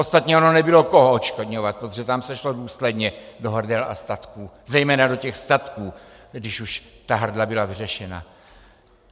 Ostatně ono nebylo koho odškodňovat, protože tam se šlo důsledně do hrdel a statků, zejména do těch statků, když už ta hrdla byla vyřešena.